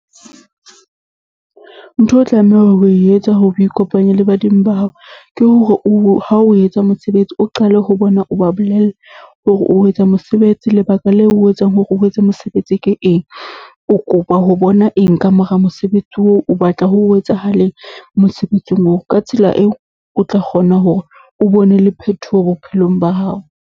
Ntho o tlamehang ho e etsa hore o ikopanye le badimo ba hao, ke hore o, ha o etsa mosebetsi o qale ho bona o ba bolelle, hore o etsa mosebetsi lebaka leo o etsang hore o etse mosebetsi ke eng?O kopa ho bona eng ka mora mosebetsi oo? O batla ho etsahaleng mosebetsing oo? Ka tsela eo, o tla kgona hore o bone le phetoho bophelong ba hao.